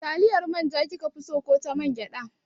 Taliyar manja kike so ko ta mangyaɗa?